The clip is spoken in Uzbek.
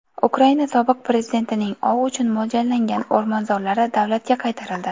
Ukraina sobiq prezidentining ov uchun mo‘ljallangan o‘rmonzorlari davlatga qaytarildi.